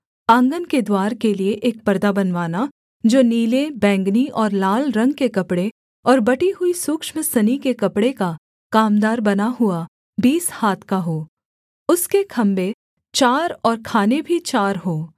आँगन के द्वार के लिये एक परदा बनवाना जो नीले बैंगनी और लाल रंग के कपड़े और बटी हुई सूक्ष्म सनी के कपड़े का कामदार बना हुआ बीस हाथ का हो उसके खम्भे चार और खाने भी चार हों